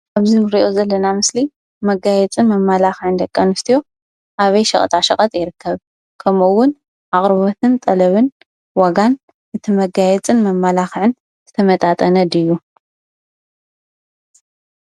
አብዚ እንሪኦ ዘለና ምስሊ መጋየፅን መማላኽዕን ደቂ አንስትዮ አበይ ሸቀጣ ሸቀጥ ይርከብ ? ከምኡ እውን አቅርቦትን ጠለብን ዋጋን እቲ መጋየፅን መማላኽዕን ዝተመጣጠነ ድዩ ?